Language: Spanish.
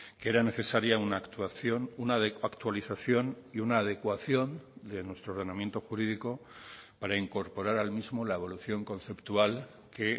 que era necesaria una actuación una actualización y una adecuación de nuestro ordenamiento jurídico para incorporar al mismo la evolución conceptual que